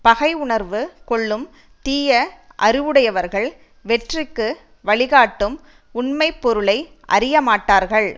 பகை உணர்வு கொள்ளும் தீய அறிவுடையவர்கள் வெற்றிக்கு வழிகாட்டும் உண்மை பொருளை அறியமாட்டார்கள்